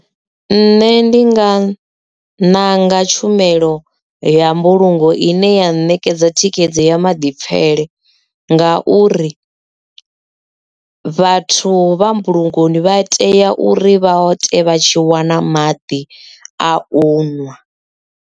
Nṋe ndi nga ṋanga tshumelo ya mbulungo ine ya ṋekedza thikhedzo ya maḓipfele nga uri vhathu vha mbulungoni vha tea uri vha ite vha tshi wana maḓi a u ṅwa.